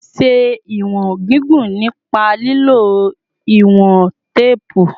Ṣe iwọn gigun nipa lilo iwọn teepu